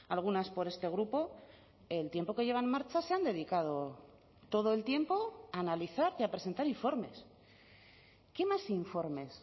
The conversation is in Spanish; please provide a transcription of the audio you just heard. algunas por este grupo el tiempo que lleva en marcha se han dedicado todo el tiempo a analizar y a presentar informes qué más informes